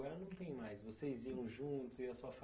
não tem mais. Vocês iam juntos, iam a sua